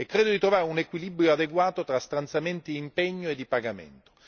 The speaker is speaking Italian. E credo di trovare un equilibrio adeguato tra stanziamenti impegno e di pagamento.